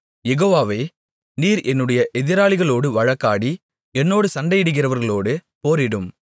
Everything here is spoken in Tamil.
யெகோவாவே நீர் என்னுடைய எதிராளிகளோடு வழக்காடி என்னோடு சண்டையிடுகிறவர்களோடு போரிடும்